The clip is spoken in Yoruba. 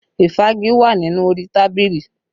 Ìfági wà nínú orí tábìlì